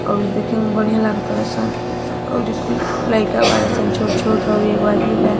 और देखे में बढ़िया लागतड़ सन अउरी कुल लइका बाड़ सन छोट छोट‌ अउरी एगो आदमी बा।